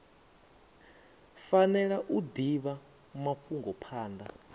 fanela u divha mafhungo phanda